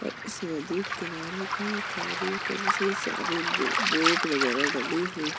और इस नदी किनारे कई सारी बोट वगेरा डली हुई --